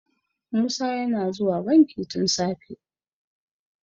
musa yana zuwa banki tun safe